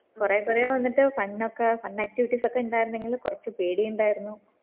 കൊറേ കൊറേ വന്നിട്ട് കണ്ണൊക്കെ un activities ഒക്കെ ഉണ്ടായിരുന്നെങ്കി കൊറച്ച് പേടി ഇണ്ടായിരുന്നു